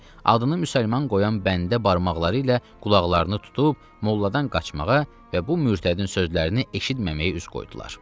adını müsəlman qoyan bəndə barmaqları ilə qulaqlarını tutub molladan qaçmağa və bu mürtədin sözlərini eşitməməyi üz qoydular.